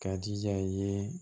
K'a jija i ye